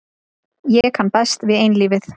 Ég kann best við einlífið.